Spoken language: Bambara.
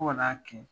Fo ka n'a kɛ